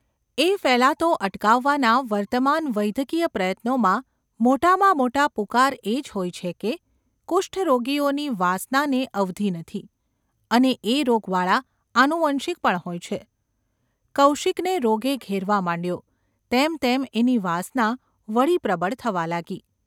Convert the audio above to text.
એ ફેલાતો અટકાવવાના વર્તમાન વૈદ્યકીય પ્રયત્નોમાં મોટામાં મોટા પુકાર એ જ હોય છે કે કુષ્ઠ રોગીઓની વાસનાને અવધિ નથી ! અને એ રોગ વાળા આનુવંશિક પણ હોય છે ! કૌશિકને રોગે ઘેરવા માંડ્યો તેમ તેમ એની વાસના વળી પ્રબળ થવા લાગી.